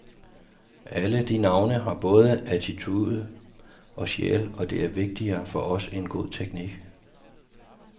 Alle de navne har både attitude og sjæl, og det er vigtigere for os end god teknik.